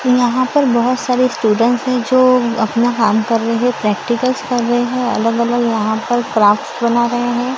यहां पर बहोत सारे स्टूडेंट है जो अपना काम कर रहे है प्रैक्टिकल्स कर रहे है अलग-अलग यहां पर क्राफ्ट्स बना रहे है।